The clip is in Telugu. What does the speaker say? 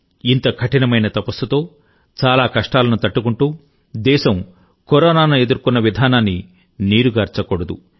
ఇంత కఠినమైన తపస్సుతో చాలా కష్టాలను తట్టుకుంటూ దేశం కరోనాను ఎదుర్కొన్న విధానాన్ని నీరుగార్చకూడదు